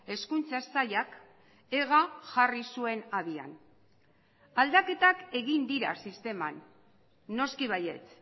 hezkuntza sailak ega jarri zuen abian aldaketak egin dira sisteman noski baietz